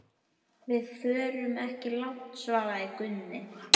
Við förum ekki langt, svaraði Gunni.